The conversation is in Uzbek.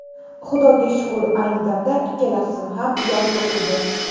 Xudoga shukur, ayni damda ikkala qizim ham yaxshi o‘qiydi.